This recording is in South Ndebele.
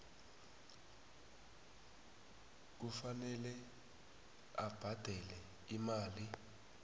kufanele abhadele imali